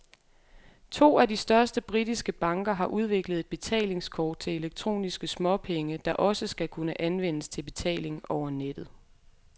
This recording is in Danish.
To af de største britiske banker har udviklet et betalingskort til elektroniske småpenge, der også skal kunne anvendes til betaling over nettet.